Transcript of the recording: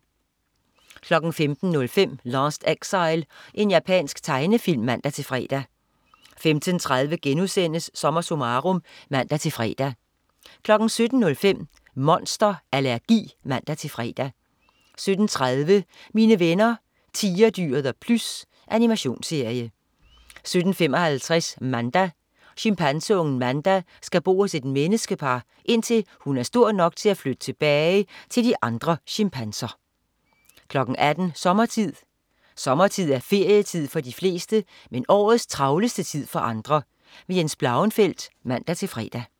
15.05 Last Exile. Japansk tegnefilm (man-fre) 15.30 SommerSummarum* (man-fre) 17.05 Monster allergi (man-fre) 17.30 Mine venner Tigerdyret og Plys. Animationsserie 17.55 Manda. Chimpanseungen Manda skal bo hos et menneskepar, indtil hun er stor nok til at flytte tilbage til de andre chimpanser 18.00 Sommertid. Sommertid er ferietid for de fleste, men årets travleste tid for andre. Jens Blauenfeldt (man-fre)